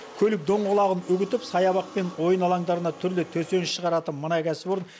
көлік доңғалағын үгітіп саябақ пен ойын алаңдарына түрлі төсеніш шығаратын мына кәсіпорын